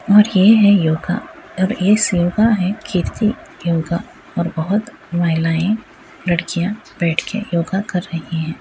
और ये है योगा और योगा है कीर्ति योगा और बहोत महिलाएं लड़कियां बैठ के योगा कर रही हैं।